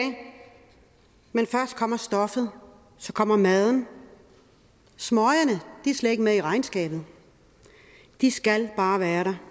men først kommer stoffet og så kommer maden smøgerne er slet ikke med i regnskabet de skal bare være der